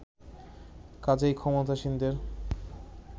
কাজেই ক্ষমতাসীনদের